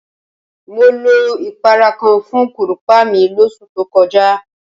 Mo lo ìpara kan fún kúrùpá mi lóṣù tó kọjá.